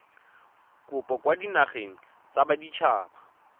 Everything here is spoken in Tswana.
kopo kwa dinageng tsa baditshaba